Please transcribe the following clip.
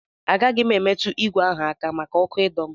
Agaghị m emetụ ìgwè ahụ aka maka ọkụ ịdọ m.